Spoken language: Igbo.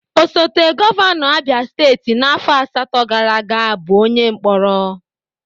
Osote Gọvanọ Abịa Steeti n'áfọ̀ asatọ gaara aga bụ onye Mkporo.